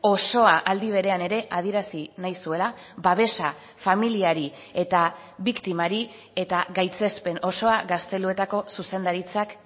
osoa aldi berean ere adierazi nahi zuela babesa familiari eta biktimari eta gaitzespen osoa gazteluetako zuzendaritzak